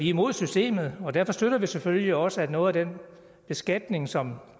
imod systemet og derfor støtter vi selvfølgelig også at noget af den beskatning som